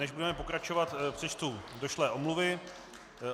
Než budeme pokračovat, přečtu došlé omluvy.